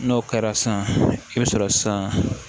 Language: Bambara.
N'o kɛra san i bɛ sɔrɔ san